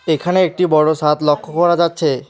এখানে একটি বড় সাদ লক্ষ্য করা যাচ্ছে।